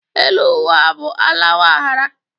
Elu ụwa bụ àlàwa a ghara.